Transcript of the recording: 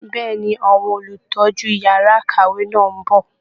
Bẹ́ẹ̀ ni, Àwọn Olùtọ́jú yàrá ìkàwé náà ń bọ̀